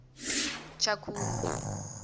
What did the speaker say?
tshakhuma